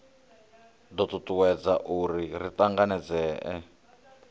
do tutuwedza uri ri tanganedzee